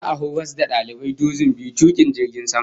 Za'a horas da dalibai dozin biyu tukun jirgin sama